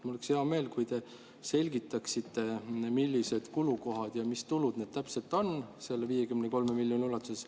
Mul oleks hea meel, kui te selgitaksite, millised kulud ja tulud selle 53 miljoni sees on.